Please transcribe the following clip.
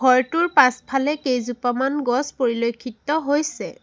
ঘৰটোৰ পাছফালে কেইজোপামান গছ পৰিলক্ষিত হৈছে।